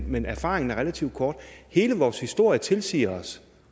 men erfaringen er relativt kort hele vores historie tilsiger os